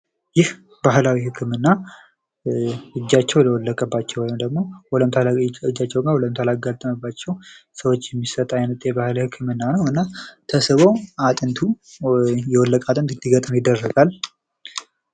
ይህ ባህላዊ ህክምና እጃቸው ለወለቀባቸው ወይም ደግሞ ወለምታ እጃቸው ላይ ወለምታ ላጋጠመባቸው ሰዎች የሚሰጥ አይነት የባህል ህክምና ነው እና ተሰብሮ አጥንቱ የወለቀ አጥንት እንዲገጥም ይደረጋል።